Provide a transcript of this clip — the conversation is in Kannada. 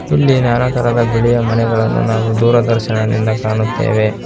ಇಲ್ಲಿ ನಾನಾ ತರಹದ ಬಿಳಿಯ ಮನೆಗಳನ್ನು ನಾವು ದೂರದರ್ಶನದಿಂದ ಕಾಣುತ್ತೆವೆ.